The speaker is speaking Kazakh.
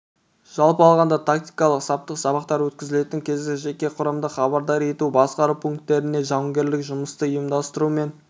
жалпы алғанда тактикалық-саптық сабақтар өткізілетін кезде жеке құрамды хабардар ету басқару пункттерінде жауынгерлік жұмысты ұйымдастыру мен